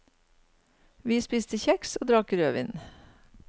Vi spiste kjeks og drakk rødvin.